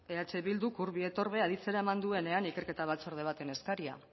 eh bilduk urbi et orbe aditzera eman duenean ikerketa batzorde baten eskaria